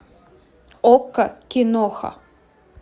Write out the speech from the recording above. окко киноха